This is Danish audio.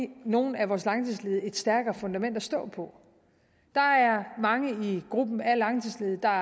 give nogle af vores langtidsledige et stærkere fundament at stå på der er mange i gruppen af langtidsledige der